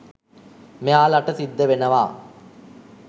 මෙයාලට සිද්ධ වෙනවා.